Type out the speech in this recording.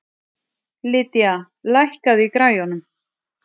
Lydia, lækkaðu í græjunum.